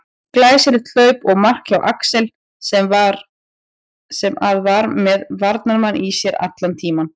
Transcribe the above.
Glæsilegt hlaup og mark hjá Axel sem að var með varnarmann í sér allan tímann.